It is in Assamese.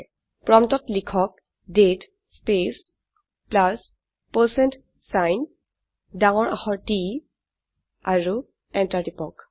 প্ৰম্পটত লিখক দাঁতে স্পেচ প্লাছ পাৰচেণ্ট ছাইন ডাঙৰ আখৰ T আৰু এন্টাৰ টিপক